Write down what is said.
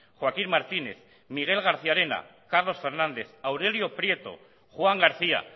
joaquín martínez miguel garciarena carlos fernández aurelio prieto juan garcía